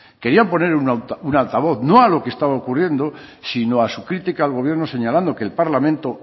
querían poner un altavoz no a lo que estaba ocurriendo sino a su crítica al gobierno señalando que el parlamento